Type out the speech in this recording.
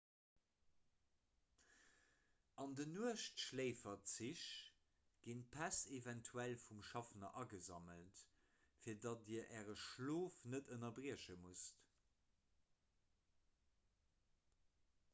an nuechtschléiferzich ginn d'päss eventuell vum schaffner agesammelt fir datt dir äre schlof net ënnerbrieche musst